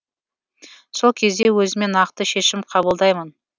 сол кезде өзіме нақты шешім қабылдаймын